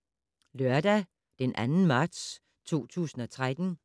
Lørdag d. 2. marts 2013